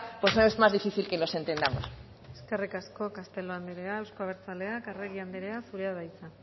pues es más difícil que nos entendamos eskerrik asko castelo andrea euzko abertzaleak arregi andrea zurea da hitza